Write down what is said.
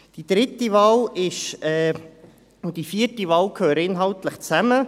Die dritte und die vierte Wahl gehören inhaltlich zusammen.